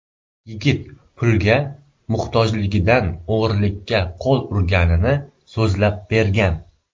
Yigit pulga muhtojligidan o‘g‘rilikka qo‘l urganini so‘zlab bergan.